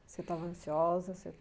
Você estava ansiosa?